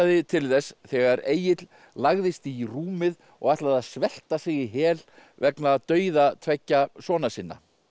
til þess þegar Egill lagðist í rúmið og ætlaði að svelta sig í hel vegna dauða tveggja sona sinna